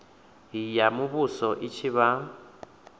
ya muvhuso i tshi vha